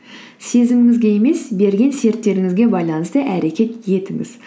сезіміңізге емес берілген серттеріңізге байланысты әрекет етіңіз